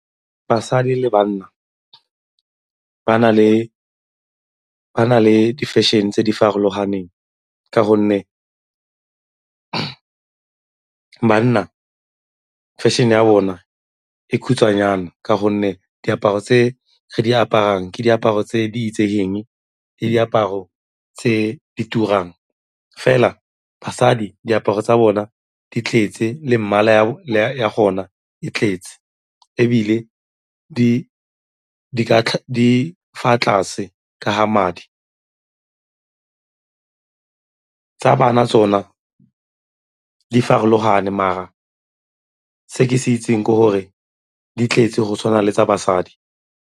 Basadi le banna ba na le difešene tse di farologaneng ka gonne banna fešene ya bona e khutshwanyane ka gonne diaparo tse di aparang ke diaparo tse di itsegeng ke diaparo tse di turang. Fela basadi, diaparo tsa bona di tletse le mmala ya gona e tletse ebile di fa tlase ka ga madi. Tsa bana tsona di farologane mara se ke se itseng ke gore di tletse go tshwana le tsa basadi.